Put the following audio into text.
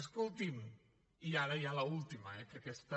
escolti’m i ara ja l’última eh que aquesta